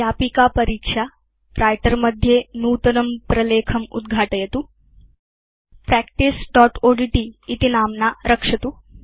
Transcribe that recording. व्यापिका परीक्षा व्रिटर मध्ये नूतनं प्रलेखम् उद्घाटयतु practiceओड्ट् इति नाम्ना रक्षतु